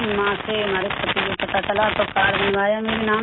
वहाँ से हमारे पति को पता चला तो कार्ड बनवाया मेरे नाम से